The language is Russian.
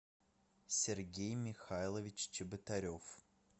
сергей михайлович чеботарев